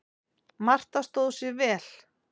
Marta stóð sig vel.